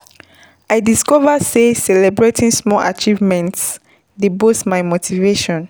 I discover sey celebrating small achievements dey boost my motivation.